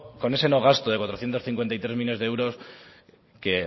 con ese no gasto de cuatrocientos cincuenta y tres millónes de euros que